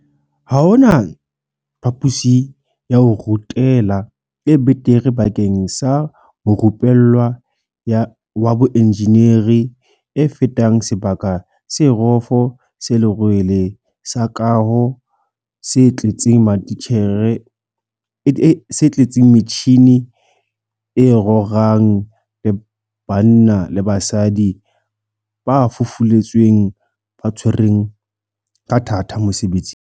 Ha hona phapusi ya ho rutela e betere bakeng sa morupe llwa wa boenjeneri e fetang sebaka se rofo se lerwele sa kaho se tletseng metjhini e rorang le banna le basadi ba fufuletsweng ba tshwereng ka thata mosebetsing.